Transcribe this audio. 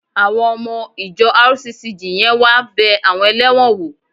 Àwọn ọmọ ìjọ RCCG yẹn wá bẹ àwọn ẹlẹ́wọ̀n wò